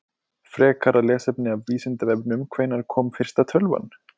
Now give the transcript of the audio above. Frekara lesefni af Vísindavefnum: Hvenær kom fyrsta tölvan?